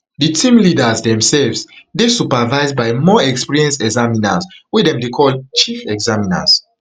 di team leaders demsefs dey supervised by more experienced examiners wey dem dey call chief examiners.